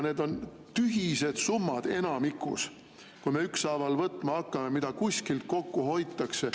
Need on enamikus tühised summad, kui me ükshaaval võtma hakkame, mida kuskil kokku hoitakse.